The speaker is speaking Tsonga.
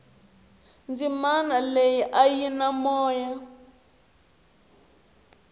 dzimana leyia a yi na moya